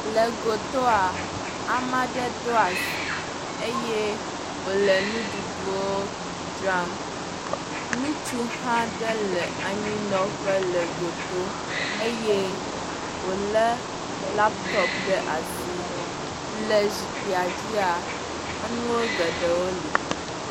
Le gotaa ame aɖe ɖo asi eye wole nuɖuɖuwo dzram. Ŋutsu ɖe hã le anyinɔƒe le goto eye wolé lapitɔpi ɖe asi. Le zikpuia dzia, enuwo geɖewo li.